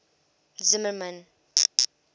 zimmermann